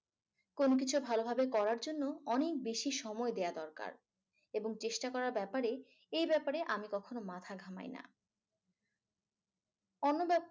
কোন কিছু ভালোভাবে করার জন্য অনেক বেশি সময় দেওয়া দরকার এবং চেষ্টা করার ব্যাপারে এই ব্যাপারে আমি কখনো মাথা ঘামাই না। অন্যথায়